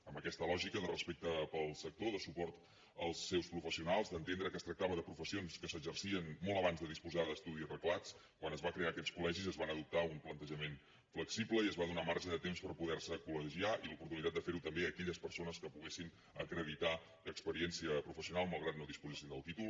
amb aquesta lògica de respecte pel sector de suport als seus professionals d’entendre que es tractava de professions que s’exercien molt abans de disposar d’estudis reglats quan es van crear aquests colva adoptar un plantejament flexible i es va donar marge de temps per poderse col·legiar i l’oportunitat de ferho també a aquelles persones que poguessin acreditar experiència professional malgrat que no disposessin del títol